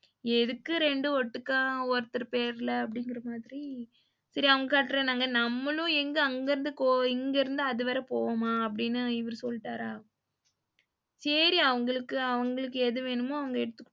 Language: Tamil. எதுக்கு ரெண்டு ஓட்டுக்கா ஒருத்தர் பேர்ல அப்படிங்குற மாதிரி சரி அவங்க கட்டுறேன்னாங்க நம்மளும் எங்க அங்க இருந்து இங்க இருந்து அது வர போவமா அப்படின்னு இவரு சொல்லிட்டாரா, சேரி அவங்களுக்கு அவங்களுக்கு எது வேணுமோ அவங்க எடுத்துக்கிட்டு,